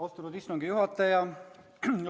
Austatud istungi juhataja!